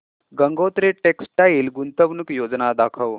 Gangotri textile गुंतवणूक योजना दाखव